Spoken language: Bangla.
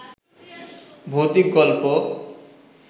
ভৌতিক গল্প